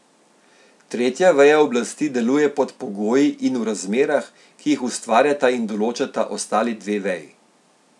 Tretja veja oblasti deluje pod pogoji in v razmerah, ki jih ustvarjata in določata ostali dve veji.